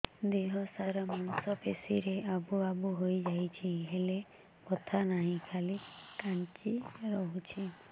ଦେହ ସାରା ମାଂସ ପେଷି ରେ ଆବୁ ଆବୁ ହୋଇଯାଇଛି ହେଲେ ବଥା ନାହିଁ ଖାଲି କାଞ୍ଚି ରଖୁଛି